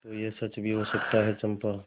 तो यह सच भी हो सकता है चंपा